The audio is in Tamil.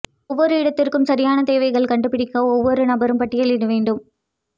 ஒவ்வொரு இடத்திற்கும் சரியான தேவைகள் கண்டுபிடிக்க ஒவ்வொரு நபரும் பட்டியலிட வேண்டும்